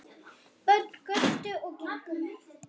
Börn göptu og gengu með.